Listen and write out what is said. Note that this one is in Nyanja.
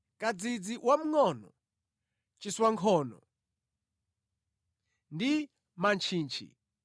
kadzidzi wamngʼono, chiswankhono ndi mantchichi,